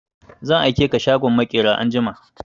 Zan aike ka shagon maƙera anjima!